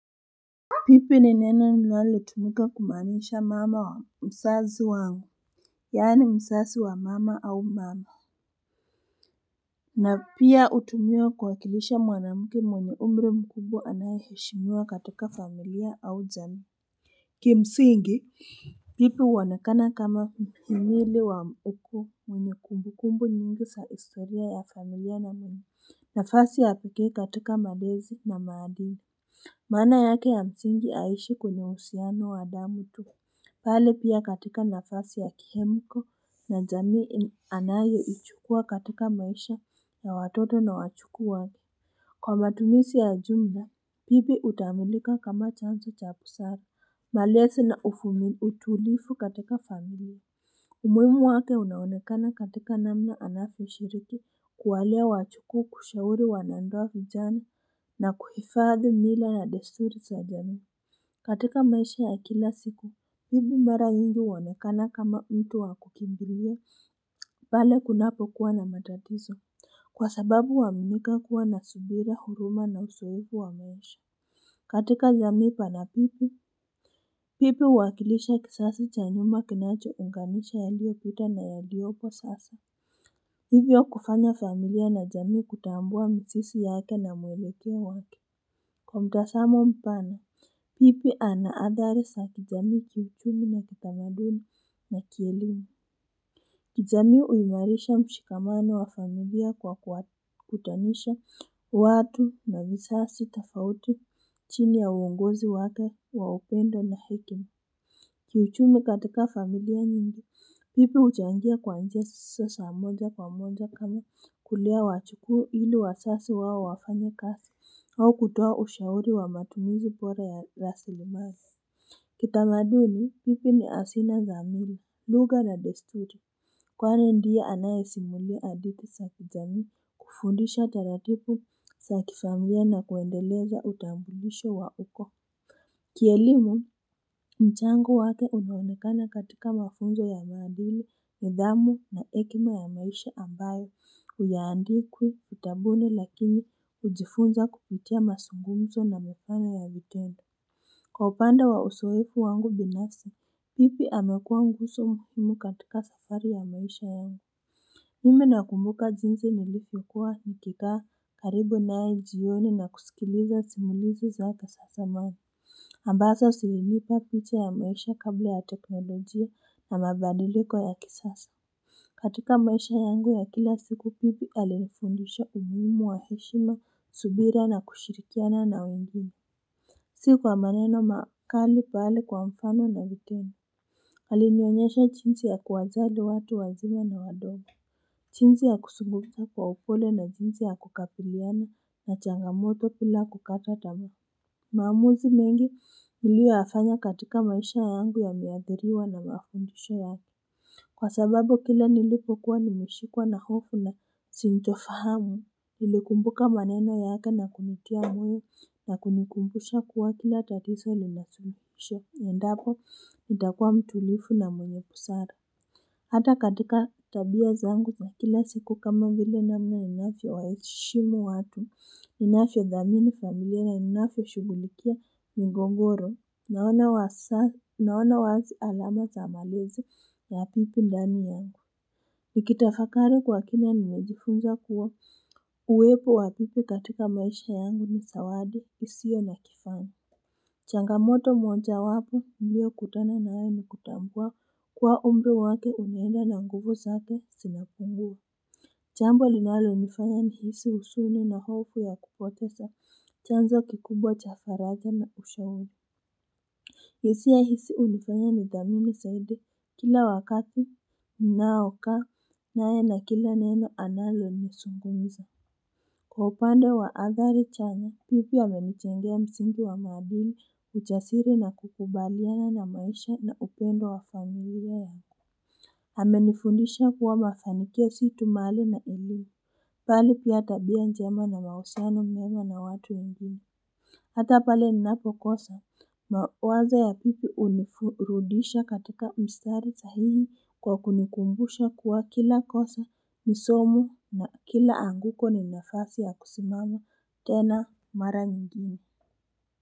Bibi ni neno linalotumika kumaanisha mama wa mzazi wangu, yani mzazi wa mama au mama. Na pia hutumiwa kuwakilisha mwanamke mwanye umri mkubwa anaye heshimiwa katika familia au jami. Kimsingi, bibi huonekana kama muhimili wa uko mwenye kumbukumbu nyingi za historia ya familia na mwenye. Nafasi ya peke katika malezi na maadili maana yake ya msingi haishi kwenye uhusiano wa damu tu bali pia katika nafasi ya kihemko na jami anaye ichukuwa katika maisha ya watoto na wajuku wake kwa matumizi ya jumla bibi hutambulika kama chanzo chabusara malezi na ufumi utulifu katika familia umuhimu wake unaonekana katika namna anavyio shiriki kuwalea wajuku kushauri wanandoa vijani na kuhifadhi mila ya desturi za jami. Katika maisha ya kila siku, bibi mara nyingi huonekana kama mtu wakukimbiria. Pale kunapo kuwa na matatizo kwa sababu waminika kuwa na subira huruma na uzoefu wa maisha. Katika jamii pana bibi bibi huwakilisha kizazi chanyuma kinacho unganisha ya liyopita na ya liyo upo sasa bibi wa kufanya familia na jamii kutambua mzizi yake na mwelekeo wake Kwa mtazamo mpana bibi anathariz a kijamii kiuchumi na kitamaduni na kielimu kijami huimarisha mshikamano wa familia kwa kwakutanisha watu na mizazi tafauti chini ya uwongozi wake wa upendo na hekima. Kiuchumi katika familia nyingi, bibi huchangia kwa njia zisizo moja kwa moja kama kulia wajukuu ili wazazi wao wafanye kasi au kutoa ushauri wa matumizi bora ya rasirimali. Kitamaduni, bibi ni hazina zamila, lugha na desturi. Kwani ndiye anaye simulia hadithi zakijami kufundisha taratibu za kifamilia na kuendeleza utambulisho wa uko Kielimu, mchango wake unaonekana katika mafunzo ya maadili, niidhamu na hekima ya maisha ambayo hayaandikwi vitabuni lakini hujifunza kupitia mazugumzo na mifano ya vitendo Kwa upande wa uzoefu wangu binasi, bibi amekua nguzo muhimu katika safari ya maisha yangu Mimi nakumbuka jinsi nilipo kuwa nikikaa karibu nae jioni na kusikiliza simulizi za kizamani ambazo zilinipa picha ya maisha kabla ya teknolojia na mabadiliko ya kisasa katika maisha yangu ya kila siku bibi alifundisha umuhimu wa heshima subira na kushirikiana na wengine Si kwa maneno makali pahali kwa mfano na vitendo Alinoonyesha jinsi ya kuwajali watu wazima na wadogo jinsi ya kuzungumza kwa upole na jinsi ya kukabiliana na changamoto bila kukata tamaa maamuzi mengi niliyoyafanya katika maisha yangu ya miathiriwa na mafundisho yangu Kwa sababu kila nilipokuwa nimeshikuwa na hofu na sito fahamu Nilikumbuka maneno yake na kujitia moyo na kunikumbusha kuwa kila tatiso linasuluisho endapo itakuwa mtulivu na mwenye busara Hata katika tabia zangu kwa kila siku kama mvile namna inavyio waheshimu watu, ninavyio thamini familia na ninavyio shugulikia migogoro, naona wazi alama za malezi ya habibi ndani yangu. Nikitafakari kwa kina nimejifunza kuwa uwepo wa habibi katika maisha yangu ni zawadi, isio na kifani. Changamoto moja wapo nilio kutana nayo ni kutambua kuwa umri wake umenda na nguvu zake zimapungua jambo linalo nifanya ni hisi husuni na hofu ya kupoteza chanzo kikubwa chafaraja na ushauri hisia hizi hunifanya ni thamini zaidi kila wakati ninaaoka naye na kila neno analo nizungumzia Kwa upande wa athari chana, bibi amenijengea msingi wa maadili, ujasiri na kukubaliana na maisha na upendo wa familia yangu. Ame nifundisha kuwa mafanikia situ mali na elimu. Mbali pia tabia njema na mahusiano mema na watu wengine. Hatapale ni napo kosa mawazo ya bibi hunifurudisha katika mstari sahihi kwa kunikumbusha kuwa kila kosa nisomo na kila anguko ni nafasi ya kusimama tena mara nyingine.